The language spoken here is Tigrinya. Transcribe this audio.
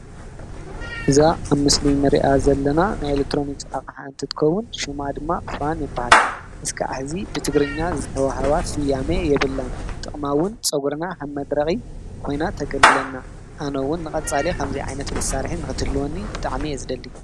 እዛ ኣብ ምስሊ እንሪኣ ዘለና ናይ ኤሌክትሮኒክስ ኣቕሓ እንትትኸውን ሽማ ድማ ፋን ይብሃል። ክሳዕ ሕዚ ብትግርኛ ዝተወሃባ ስያሜ የብላን። ጥቅማ እውን ንፀጉሪ ከም መድረቂ ኮይና ተገልግለና፣ ኣነ እውን ንቀፃሊ ከምዚ ዓይነት ንክህልወኒ ብጣዕሚ እየ ዝደሊ።